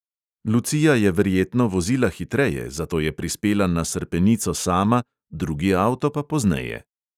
Lucija je verjetno vozila hitreje, zato je prispela na srpenico sama, drugi avto pa pozneje.